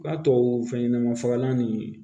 Ka tubabu fɛn ɲɛnaman fagalan nin